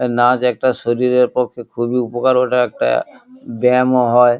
নাচ একটা শরীরের পক্ষে খুবই উপকার। ওটা একটা ব্যায়ামও হয়।